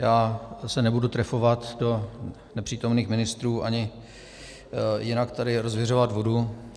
Já se nebudu trefovat do nepřítomných ministrů ani jinak tady rozviřovat vodu.